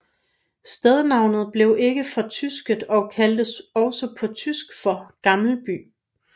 Stednavnet blev ikke fortysket og kaldes også på tysk for Gammelby